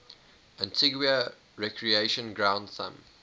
antigua recreation ground thumb